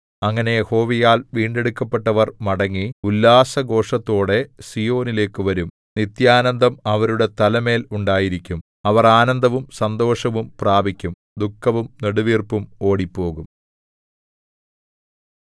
അങ്ങനെ യഹോവയാൽ വീണ്ടെടുക്കപ്പെട്ടവർ മടങ്ങി ഉല്ലാസഘോഷത്തോടെ സീയോനിലേക്കു വരും നിത്യാനന്ദം അവരുടെ തലമേൽ ഉണ്ടായിരിക്കും അവർ ആനന്ദവും സന്തോഷവും പ്രാപിക്കും ദുഃഖവും നെടുവീർപ്പും ഓടിപ്പോകും